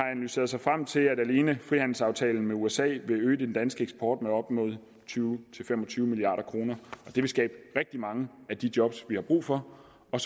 sig frem til at alene frihandelsaftalen med usa vil øge den danske eksport med op mod tyve til fem og tyve milliard kroner det vil skabe rigtig mange af de job vi har brug for og